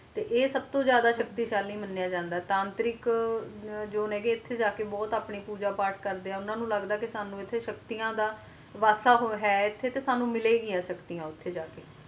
ਤੇ ਆਏ ਸਬ ਤੋਂ ਜ਼ਿਆਦਾ ਸ਼ਕਤੀਸ਼ਾਲੀ ਮਾਨ੍ਯ ਜਾਂਦਾ ਹੈ ਤਾਂਤਰਿਕ ਜੋ ਹੈ ਗੇ ਨੇ ਇੱਥੇ ਜਾ ਕ ਆਪਣੀ ਬੋਹਤ ਪੂਜਾ ਪਾਤ ਕਰਦੇ ਹੈ ਨੇ ਉਨ੍ਹਾਂ ਨੂੰ ਲੱਗਦਾ ਹੈ ਕ ਸ਼ਕਤੀਆਂ ਦਾ ਵਾਸਾ ਹੈ ਤੇ ਸਾਂਨੂੰ ਮਿਲੀਆਂ ਗਈ ਸ਼ਕਤੀ ਇੰਜ